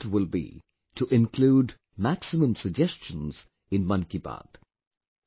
My effort will be to include maximum suggestions in 'Mann Ki Baat'